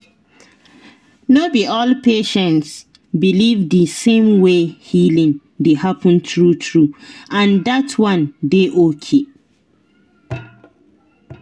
no be all patient believe the same way healing dey happen true true—and that one dey okay.